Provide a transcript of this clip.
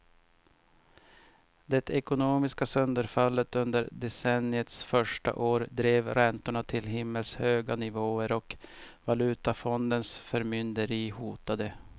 Det ekonomiska sönderfallet under decenniets första år drev räntorna till himmelshöga nivåer och valutafondens förmynderi hotade.